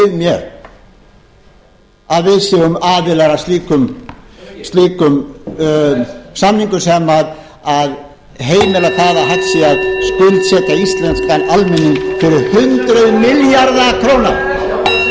séum aðilar að slíkum samningum sem heimila að hægt sé að skuldsetja íslenskan almenning fyrir hundruð milljarða króna ef þetta er það sem yfir okkur á að dynja